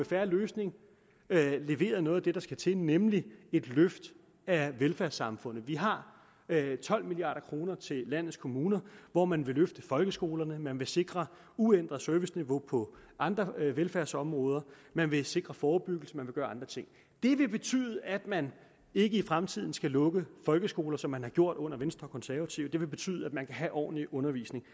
fair løsning leveret noget af det der skal til nemlig et løft af velfærdssamfundet vi har tolv milliard kroner til landets kommuner hvor man vil løfte folkeskolerne man vil sikre uændret serviceniveau på andre velfærdsområder man vil sikre forebyggelse man vil gøre andre ting det vil betyde at man ikke i fremtiden skal lukke folkeskoler som man har gjort under venstre og konservative det vil betyde at man kan have ordentlig undervisning